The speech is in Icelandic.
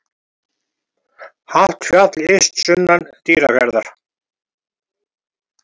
Hátt fjall yst sunnan Dýrafjarðar.